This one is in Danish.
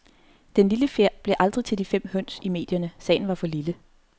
Den lille fjer blev aldrig til de fem høns i medierne, sagen var for lille.